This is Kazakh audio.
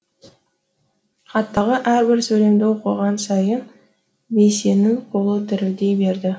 хаттағы әрбір сөйлемді оқыған сайын бейсеннің қолы дірілдей берді